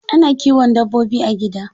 Ana kiwon dabbobi a gida.